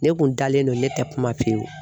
Ne kun dalen don, ne tɛ kuma pewu.